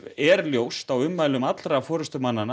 er ljóst af ummælum